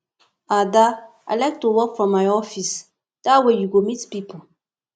ada i like to work from my office dat way you go meet people